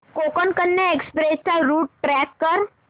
Konkan Kanya express चा route track कर